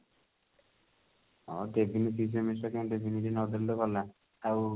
ହଁ କେତେଦିନ fifth semester କି ଏମିତି ନଦେଲେ ତ ଗଲା ଆଉ